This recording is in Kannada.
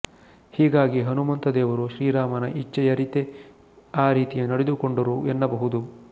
ಹೀಗಾಗಿ ಹನುಮಂತದೇವರು ಶ್ರೀರಾಮನ ಇಚ್ಛೆಯರಿತೇ ಆ ರೀತಿ ನಡೆದುಕೊಂಡರು ಎನ್ನಬಹುದು